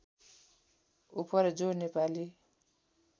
उपर जो नेपाली